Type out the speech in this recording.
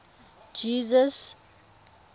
jesus